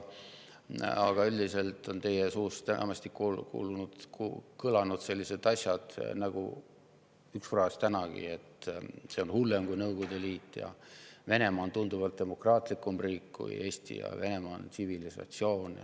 Aga üldiselt on teie suust enamasti kõlanud sellised asjad, nagu üks fraas tänagi, et see on hullem kui Nõukogude Liit, et Venemaa on tunduvalt demokraatlikum riik kui Eesti ja Venemaa on tsivilisatsioon.